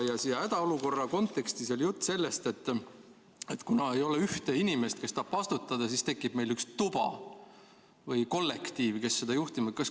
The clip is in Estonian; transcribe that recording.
Ja hädaolukorra kontekstis oli juttu sellest, et kuna ei ole ühte inimest, kes tahab vastutada, siis tekib meil üks tuba või kollektiiv, kes hakkab seda juhtima.